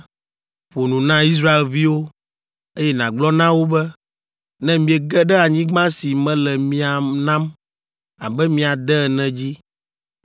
“Ƒo nu na Israelviwo, eye nàgblɔ na wo be, ‘Ne miege ɖe anyigba si mele mia nam abe mia de ene dzi,